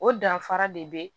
O danfara de be